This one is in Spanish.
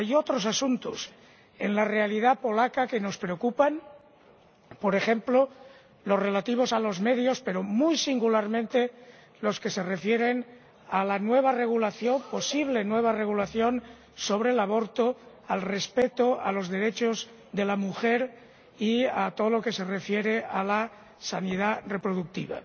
Hay otros asuntos en la realidad polaca que nos preocupan, por ejemplo, los relativos a los medios, pero, muy singularmente, los que se refieren a la nueva regulación —posible nueva regulación— sobre el aborto, al respeto de los derechos de la mujer y a todo lo relacionado con la sanidad reproductiva.